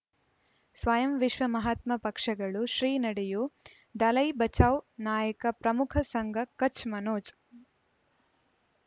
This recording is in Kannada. ಸ್ವಯಂ ವಿಶ್ವ ಮಹಾತ್ಮ ಪಕ್ಷಗಳು ಶ್ರೀ ನಡೆಯೂ ದಲೈ ಬಚೌ ನಾಯಕ ಪ್ರಮುಖ ಸಂಘ ಕಚ್ ಮನೋಜ್